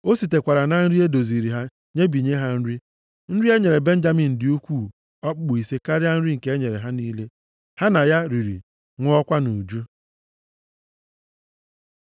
O sitekwara na nri e doziri ya nyebinye ha nri. Nri e nyere Benjamin dị ukwuu okpukpu ise karịa nri nke e nyere ha niile. Ha na ya riri, ṅụọkwa nʼuju.